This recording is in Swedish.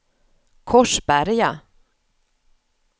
Korsberga